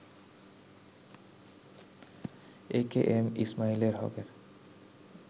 এ K M Ismail হকের